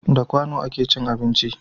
Da kwano a ke cin abinci